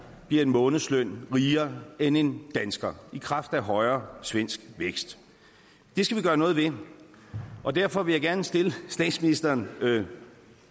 bliver en månedsløn rigere end en dansker i kraft af højere svensk vækst det skal vi gøre noget ved og derfor vil jeg gerne stille statsministeren følgende